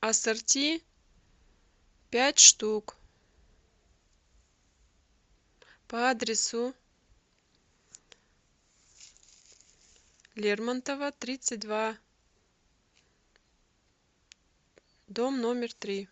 ассорти пять штук по адресу лермонтова тридцать два дом номер три